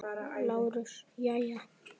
LÁRUS: Jæja.